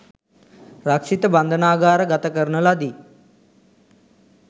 රක්ෂිත බන්ධනාගාර ගත කරන ලදී.